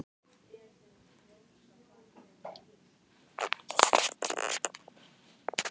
Gellir, slökktu á þessu eftir níutíu og eina mínútur.